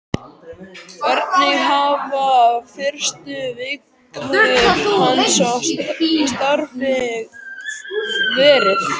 Hvernig hafa fyrstu vikur hans í starfi verið?